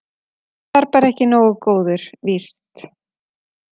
Hann var bara ekki nógu góður, víst.